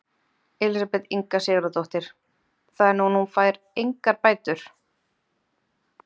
Elísabet Inga Sigurðardóttir: Þannig að hún fær engar bætur?